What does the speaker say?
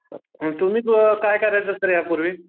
आणि तुम्ही अ काय करायचा सर यापूर्वी?